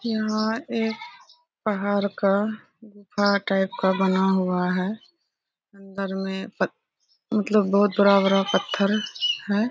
यहाँ एक पहाड़ का गुफा टाइप का बना हुआ है। अंदर में पत मतलब बहुत बड़ा-बड़ा पथर है।